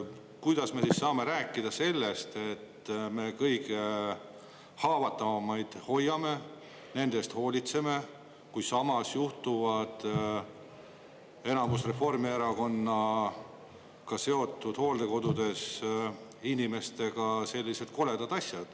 Kuidas me saame rääkida sellest, et me kõige haavatavamaid hoiame, nende eest hoolitseme, kui samas juhtuvad enamus Reformierakonnaga seotud hooldekodudes inimestega sellised koledad asjad?